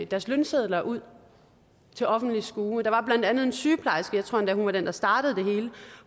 deres lønsedler ud til offentlig skue der var blandt andet en sygeplejerske jeg tror endda hun var den der startede det hele